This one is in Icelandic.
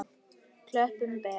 Klöppin ber.